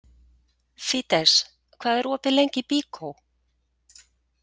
Fídes, hvað er opið lengi í Byko?